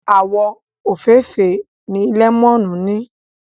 Àwọ̀ òfeefee ni lẹ́mọ́nù ní.